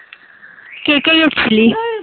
কে কে গেছিলি?